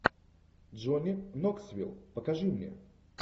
джонни ноксвилл покажи мне